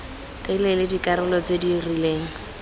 telele dikarolo tse di rileng